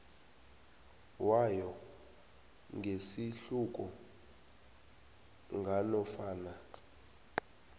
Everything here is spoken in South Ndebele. wayo ngesihluku nganofana